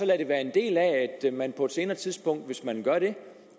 lade det være en del af at man på et senere tidspunkt